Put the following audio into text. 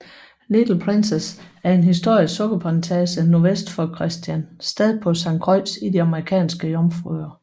Little Princess er en historisk sukkerplantage nordvest for Christiansted på Sankt Croix i de Amerikanske Jomfruøer